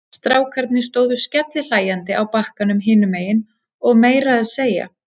Strákarnir stóðu skellihlæjandi á bakkanum hinum megin og meira að segja